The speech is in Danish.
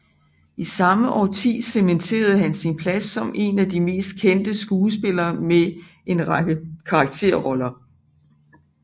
I samme årti cementerede han sin plads som en af de mest kendte skuespillere med en række karakterroller